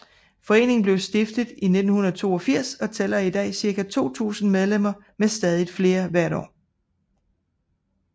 Foreningen blev stiftet i 1982 og tæller i dag ca 2000 medlemmer med stadigt flere hvert år